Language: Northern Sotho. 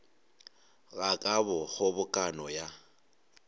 ga ka go kgobokano ya